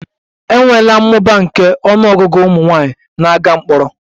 E nweela mmụba nke ọnụ ọgụgụ ụmụ nwanyị na-aga mkpọrọ